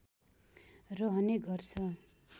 रहने गर्छ